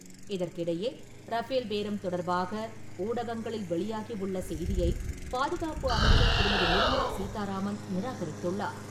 இதற்கிடையே, ரஃபேல் பேரம் தொடர்பாக ஊடகங்களில் வெளியாகி உள்ள செய்தியை பாதுகாப்பு அமைச்சர் திருமதி.நிர்மலா சீத்தாராமன் நிராகரித்துள்ளார்.